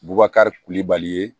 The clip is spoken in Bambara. Bubakari kulibali ye